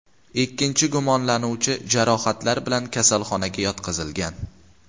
Ikkinchi gumonlanuvchi jarohatlar bilan kasalxonaga yotqizilgan.